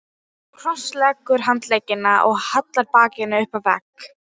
Hún krossleggur handleggina og hallar bakinu upp að vegg.